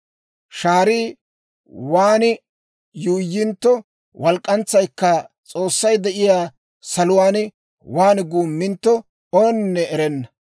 Shaarii waan yuuyyintto, walk'k'antsaykka S'oossay de'iyaa saluwaan waan guummintto, ooninne erenna.